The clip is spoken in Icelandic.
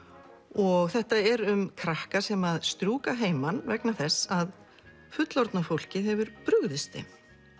og þetta er um krakka sem strjúka að heiman vegna þess að fullorðna fólkið hefur brugðist þeim